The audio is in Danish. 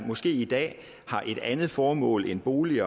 måske i dag har et andet formål end bolig